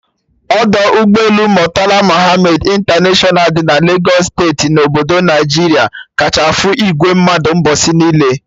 Ọdọ ụgbọ elu Murtala Muhammad International dị na Lagos steeti na obodo Naijiria kacha afụ ìgwè mmadụ mgbọsị niile